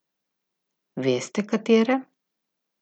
Veste, katere?